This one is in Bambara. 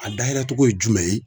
A dayɛlɛ cogo ye jumɛn ye